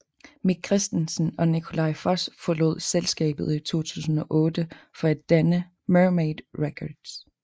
Mik Christensen og Nikolaj Foss forlod selskabet i 2008 for at danne Mermaid Records